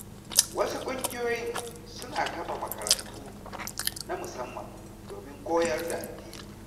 Wasu ƙungiyoyin suna kafa makarantu na musamman domin koyar da addini.